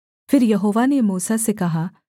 फिर यहोवा ने मूसा से कहा